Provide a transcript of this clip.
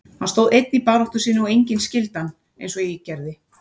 Hann stóð einn í baráttu sinni og enginn skildi hann eins og ég gerði.